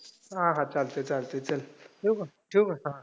हा हा. चालतंय चालतंय. चल, ठेऊ का, ठेऊ का?